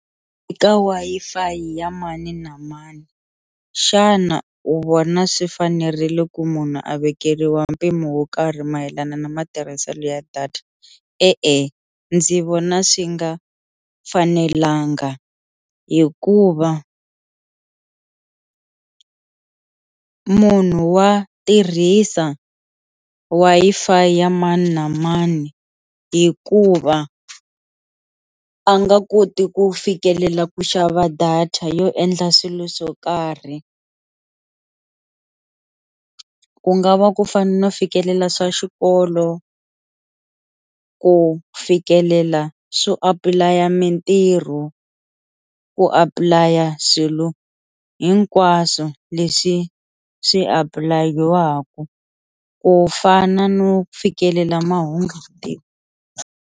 Eka Wi-Fi ya mani na mani xana u vona swi fanerile ku munhu a vekeriwa mpimo wo karhi mayelana na matirhiselo ya data, E-e ndzi vona swi nga fanelanga hikuva munhu wa tirhisa Wi-Fi ya mani na mani hikuva a nga koti ku fikelela ku xava data yo endla swilo swo karhi ku nga va ku fana no fikelela swa xikolo, ku fikelela swo apply a mintirho, ku apply a swilo hinkwaswo leswi swi apulayiwaku ku fana no fikelela mahungu .